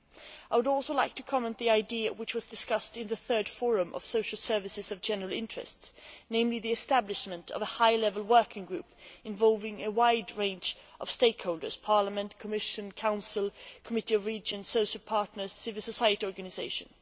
I would also like to comment on an idea which was discussed in the Third Forum on Social Services of General Interest, namely the establishment of a high level working group involving a wide range of stakeholders Parliament, Commission, Council, Committee of Regions, social partners and civil society organisations.